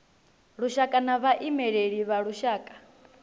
lushaka na vhaimeleli vha lushaka